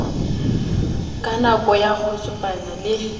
ka noka ya kgotjwane le